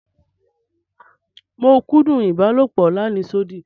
Mo kúndún ibàlọpò làníṣòdí.